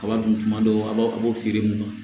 Kaba dun tuma dɔw la a b'a a b'o feere mun na